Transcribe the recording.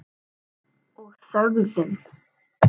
Og þögðum.